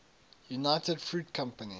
united fruit company